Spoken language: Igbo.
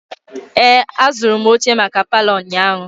Ee, azụrụ m oche maka palọ ụnyahụ.